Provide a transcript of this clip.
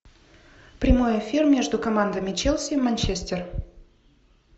прямой эфир между командами челси и манчестер